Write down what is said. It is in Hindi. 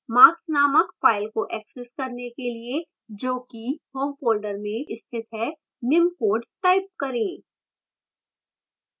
marks नामक file को access करने के लिए जो कि home folder में स्थित है निम्न code type करें